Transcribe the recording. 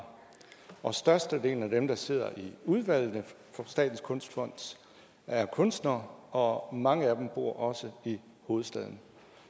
og størstedelen af dem der sidder i udvalgene for statens kunstfond er kunstnere og mange af dem bor også i hovedstaden